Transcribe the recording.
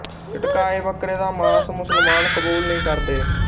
ਝਟਕਾਏ ਬੱਕਰੇ ਦਾ ਮਾਸ ਮੁਸਲਮਾਨ ਕਬੂਲ ਨਹੀਂ ਕਰਦੇ